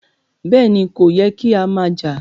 Bẹ́ẹ̀ni, kò yẹ́ kí a má jà.